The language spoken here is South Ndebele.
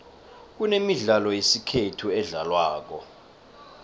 kunemidlalo yesikhethu edlalwako